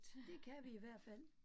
Det kan vi i hvert fald